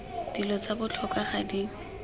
dilo tsa botlhokwa ga di